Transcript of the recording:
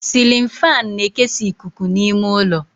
Cilin fáan na-ekesa ikuku n'ime ụlọ